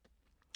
DR K